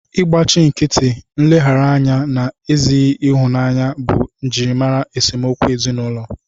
Ịgbachi nkịtị, nleghara anya na ezighị ịhụnanya bụ njirimara esemokwu ezinụlọ